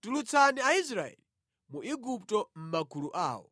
“Tulutsani Aisraeli mu Igupto mʼmagulu awo.”